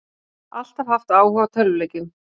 Alltaf haft áhuga á tölvuleikjum